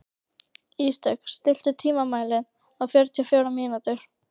Ísdögg, stilltu tímamælinn á fjörutíu og fjórar mínútur.